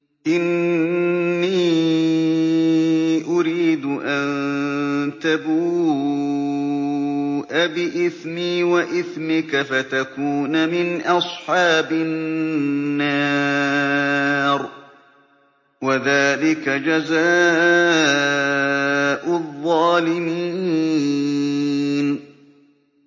إِنِّي أُرِيدُ أَن تَبُوءَ بِإِثْمِي وَإِثْمِكَ فَتَكُونَ مِنْ أَصْحَابِ النَّارِ ۚ وَذَٰلِكَ جَزَاءُ الظَّالِمِينَ